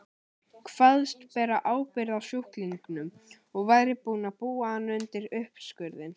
Kvaðst bera ábyrgð á sjúklingnum og væri búinn að búa hann undir uppskurðinn.